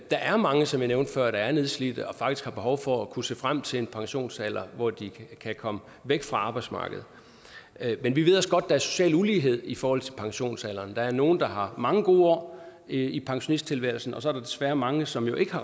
der er mange som jeg nævnte før der er nedslidte og faktisk har behov for at kunne se frem til en pensionsalder hvor de kan komme væk fra arbejdsmarkedet men vi ved også godt er social ulighed i forhold til pensionsalderen der er nogle der har mange gode år i pensionisttilværelsen og så er der desværre mange som jo ikke